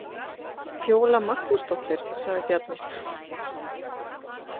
Fjóla Magnúsdóttir, sagði Bjarni.